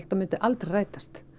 að myndi aldrei rætast